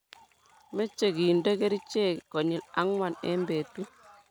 Meche kende kerichek konyil ang'wan eng betut.